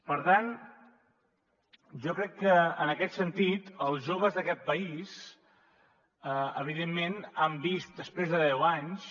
per tant jo crec que en aquest sentit els joves d’aquest país evidentment han vist després de deu anys